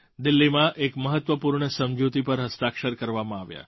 દિલ્લીમાં એક મહત્ત્વપૂર્ણ સમજૂતી પર હસ્તાક્ષર કરવામાં આવ્યા